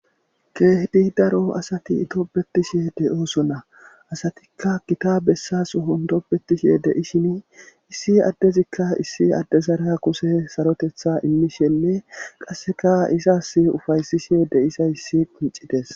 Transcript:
keehdi daro asati topbetishe deyooso na asatikka gita bessas hondopbetishe deishin issi addezikka issi addezara kuse sarotetha immishenne qasseka isas ufaysishe deisa issi icites